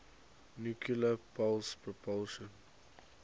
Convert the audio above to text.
nuclear pulse propulsion